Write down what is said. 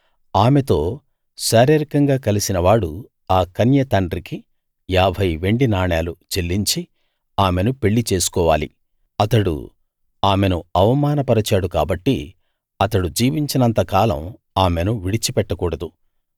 ఆమెతో శారీరకంగా కలిసినవాడు ఆ కన్య తండ్రికి 50 వెండి నాణాలు చెల్లించి ఆమెను పెళ్లి చేసుకోవాలి అతడు ఆమెను ఆవమానపరచాడు కాబట్టి అతడు జీవించినంత కాలం ఆమెను విడిచి పెట్టకూడదు